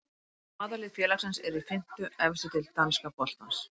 Aðallið félagsins er í fimmtu efstu deild danska boltans.